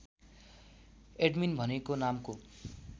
admin भनेको नामको